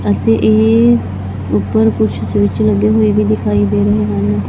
ਅਤੇ ਇਹ ਉੱਪਰ ਕੁਝ ਸਵਿਚ ਲੱਗੇ ਹੋਏ ਵੀ ਦਿਖਾਈ ਦੇ ਰਹੇ ਹਨ।